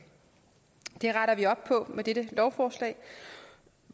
det retter vi op på med dette lovforslag